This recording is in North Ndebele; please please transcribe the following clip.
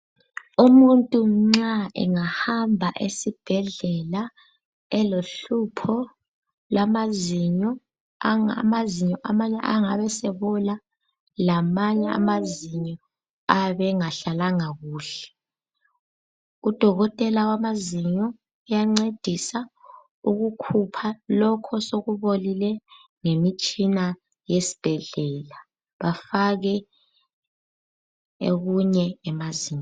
Umuntu nxa engahamba esibhedlela elohlupho lwamazinyo, amazinyo amanye angabe sebola lamanye amazinyo abe engahlalanga kuhle. Udokotela wamazinyo uyancedisa ukukhupha lokho osokubolile ngemitshina yesibhedlela, afake okunye emazinyweni.